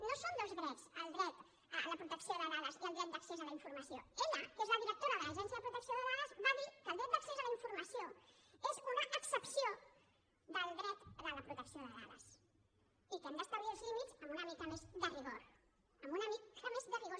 no són dos drets el dret a la protecció de dades i el dret d’accés a la informació ella que és la directora de l’autoritat de protecció de dades va dir que el dret d’accés a la informació és una excepció del dret de la protecció de dades i que hem d’establir els límits amb una mica més de rigor amb una mica més de rigor